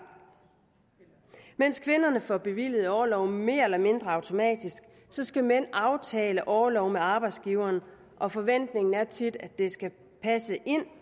mens kvinderne får bevilget orloven mere eller mindre automatisk skal mænd aftale orlov med arbejdsgiveren og forventningen er tit at det skal passe ind